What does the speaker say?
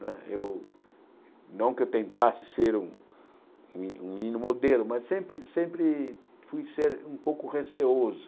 Não é eu não que eu tentasse ser um um um menino modelo, mas sempre sempre fui ser um pouco receoso.